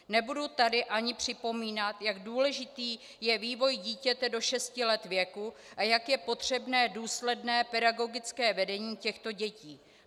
Nebudu tady ani připomínat, jak důležitý je vývoj dítěte do šesti let věku a jak je potřebné důsledné pedagogické vedení těchto dětí.